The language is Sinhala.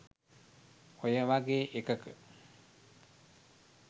ඔය වගේ එකක